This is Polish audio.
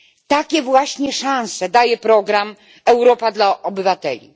Takie właśnie szanse daje program Europa dla obywateli.